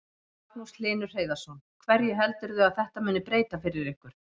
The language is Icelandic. Magnús Hlynur Hreiðarsson: Hverju heldurðu að þetta muni breyta fyrir ykkur?